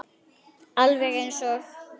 Alveg eins og